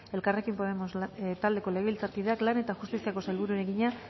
elkarrekin podemos taldeko legebiltzarkideak lan eta justiziako sailburuari egina